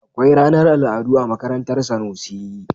Akwai ranar al'adu a makarantar Sanusi.